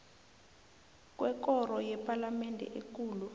kwekoro yepalamende ekulu